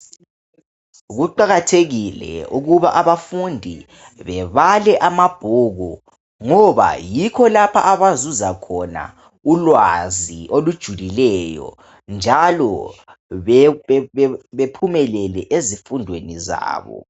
Kuqakathekile ukuba abafundi bebale amabhuku .Ngoba yikho lapha abazuza khona ulwazi olujulileyo. Njalo bephumelele ezifundweni zabo.